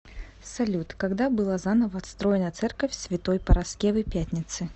салют когда была заново отстроена церковь святой параскевы пятницы